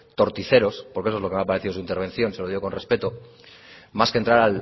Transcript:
torticeros porque eso es lo que me ha parecido su intervención se lo digo con respeto más que entrar